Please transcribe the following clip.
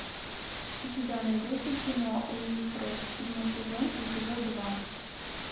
у тебя найдется кино уилфред седьмой сезон эпизод два